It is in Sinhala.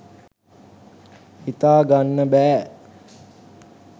හිතාගන්න බෑ